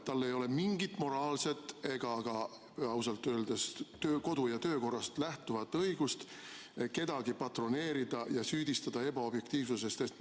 Tal ei ole mingit moraalset ega ausalt öeldes ka kodu- ja töökorra seadusest lähtuvat õigust kedagi patroneerida ja ebaobjektiivsuses süüdistada.